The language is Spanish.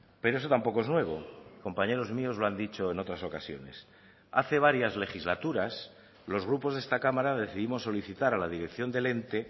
pero eso tampoco es nuevo compañeros míos lo han dicho en otras ocasiones hace varias legislaturas los grupos de esta cámara decidimos solicitar a la dirección del ente